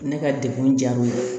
Ne ka dekun diyara n ye